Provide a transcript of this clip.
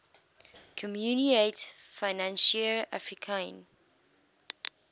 communaute financiere africaine